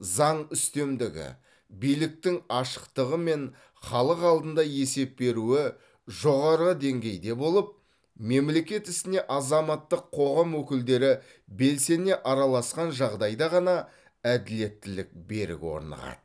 заң үстемдігі биліктің ашықтығы мен халық алдында есеп беруі жоғары деңгейде болып мемлекет ісіне азаматтық қоғам өкілдері белсене араласқан жағдайда ғана әділеттілік берік орнығады